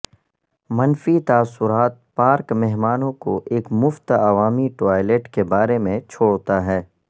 منفی تاثرات پارک مہمانوں کو ایک مفت عوامی ٹوائلٹ کے بارے میں چھوڑتا ہے